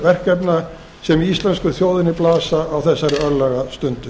verkefna sem við íslensku þjóðinni blasa á þessari örlagastundu